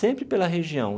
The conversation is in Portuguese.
Sempre pela região.